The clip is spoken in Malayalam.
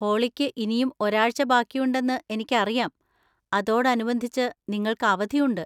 ഹോളിക്ക് ഇനിയും ഒരാഴ്‌ച ബാക്കിയുണ്ടെന്ന് എനിക്കറിയാം, അതോടനുബന്ധിച്ച് നിങ്ങൾക്ക് അവധി ഉണ്ട്.